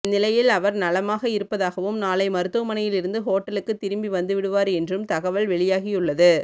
இந்நிலையில் அவர் நலமாக இருப்பதாகவும் நாளை மருத்துவமனையில் இருந்து ஹோட்டலுக்கு திரும்பி வந்துவிடுவார் என்றும் தகவல் வெளியாகியுள்ளது